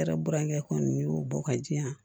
Ne yɛrɛ burankɛ kɔni y'o bɔ ka di yan